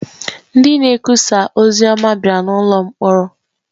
Ndị na-ekwusa ozi ọma bịara n’ụlọ mkpọrọ.